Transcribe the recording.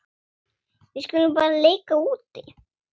Við skulum bara leika úti.